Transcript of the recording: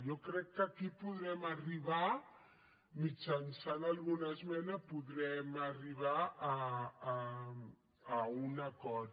jo crec que aquí podrem arribar mitjançant alguna esmena podrem arribar a un acord